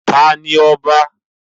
Ta ni ọba?